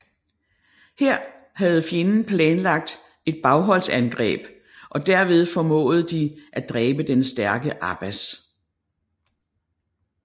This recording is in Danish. Her havde fjenden planlagt et bagholdsangreb og derved formåede de at dræbe den stærke Abbas